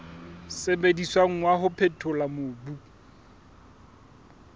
sebediswang wa ho phethola mobu